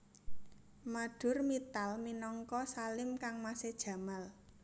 Madhur Mittal minangka Salim kangmasé Jamal